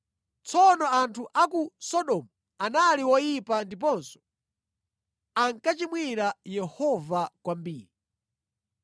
Tsono anthu a ku Sodomu anali oyipa ndiponso ankachimwira Yehova kwambiri.